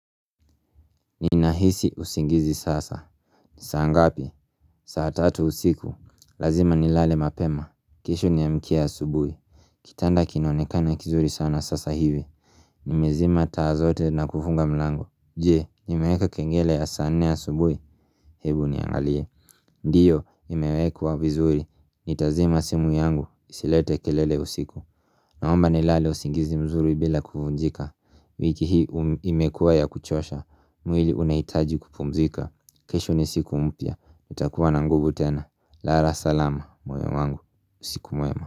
Ninahisi usingizi sasa saa ngapi? Saa tatu usiku Lazima nilale mapema kesho niamkia asubui Kitanda kinaonekana kizuri sana sasa hivi Nimezima taa zote na kufunga mlango. Jee, nimeweka kengele ya saa nne asubui Hebu niangalie Ndiyo, imewekwa vizuri. Nitazima simu yangu isilete kelele usiku Naomba nilale usingizi mzuri bila kuvunjika wiki hii imekuwa ya kuchosha mwili unaitaji kupumzika kesho ni siku mpya nitakuwa na nguvu tena Lara salama moyo wangu usiku mwema.